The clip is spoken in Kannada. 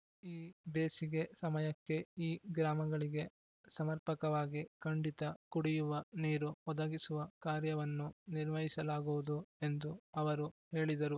ಈ ಬೇಸಿಗೆ ಸಮಯಕ್ಕೆ ಈ ಗ್ರಾಮಗಳಿಗೆ ಸಮರ್ಪಕವಾಗಿ ಖಂಡಿತ ಕುಡಿಯುವ ನೀರು ಒದಗಿಸುವ ಕಾರ್ಯವನ್ನು ನಿರ್ವಹಿಸಲಾಗುವುದು ಎಂದು ಅವರು ಹೇಳಿದರು